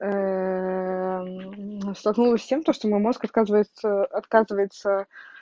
столкнулась с тем то что мой мозг отказывается отказывается